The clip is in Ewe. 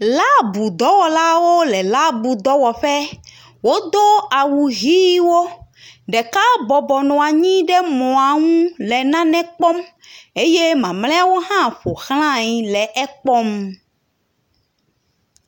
Laabu dɔwɔlawo le laabu dɔwɔƒɛ wodó awu ɣiwo ɖeka bɔbɔ nɔanyi le moaŋu le nane kpɔm eye mamlɛawo hã ƒoxlãe le ekpɔm